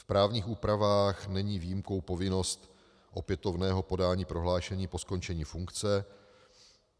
V právních úpravách není výjimkou povinnost opětovného podání prohlášení po skončení funkce.